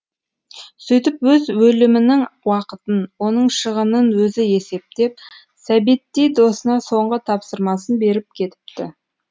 сөйтіп өз өлімінің уақытын оның шығынын өзі есептеп сәбеттей досына соңғы тапсырмасын беріп кетіпті